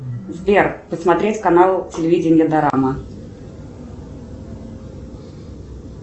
сбер посмотреть канал телевидения дорама